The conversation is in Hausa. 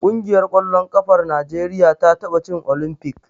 Ƙungiyar ƙwallon ƙafar Najeriya ta taɓa cin Olimfik.